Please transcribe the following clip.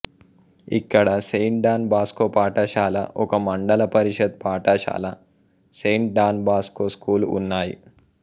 ఇక్కడ Saint Don Bosco పాఠశాల ఒక మండలపరిషత్ పాఠశాల సెంట్ డాన్ బోస్కో స్కూల్ ఉన్నాయి